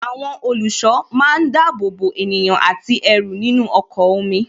Àwọn olùṣọ́ máa ń dábòbò ènìyàn àti ẹrù nínú ọkọ̀ omi